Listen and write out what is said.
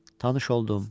Tanış oldum.